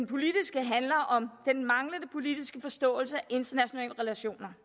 politiske handler om den manglende politiske forståelse af internationale relationer